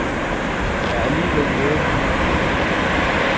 Der er alligevel noget, han gerne vil opleve.